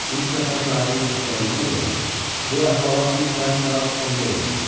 Üç nəfər şahidin göstərdiyinə görə, bu əhvalat düz səhər saat 10-da olmuşdur.